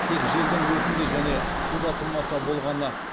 тек желдің өтінде және суда тұрмаса болғаны